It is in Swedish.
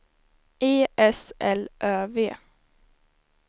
E S L Ö V